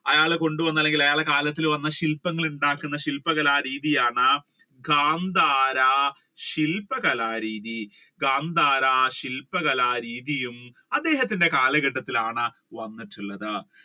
അയാൾ കൊണ്ടുവന്ന അല്ലെങ്കിൽ അയാളുടെ കാലത്തിൽ വന്ന ശില്പങ്ങൾ ഉണ്ടാക്കുന്ന ശില്പ കല രീതിയാണ് ഘാൻധാര ശില്പ കലരീതി ഘാൻധാര ശില്പ കലരീതി അദ്ദേഹത്തിന്റെ കാലഘട്ടത്തിലാണ് വന്നിട്ടുള്ളത്.